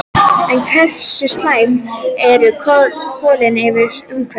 En hversu slæm eru kolin fyrir umhverfið?